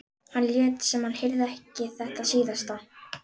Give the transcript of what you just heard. Hann lét sem hann heyrði ekki þetta síðasta.